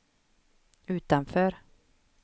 utanför